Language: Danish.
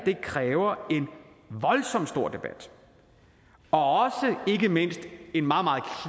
kræver en voldsomt stor debat og ikke mindst en meget meget